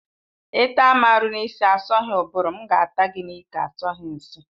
Ịta m aru n'isi asọghi ụbụrụ, m ga-ata gị n'ike asọghi nshi